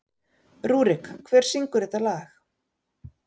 Rúrik, hver syngur þetta lag?